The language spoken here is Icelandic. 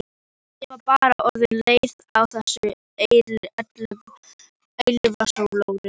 Ég var bara orðin leið á þessu eilífa slori.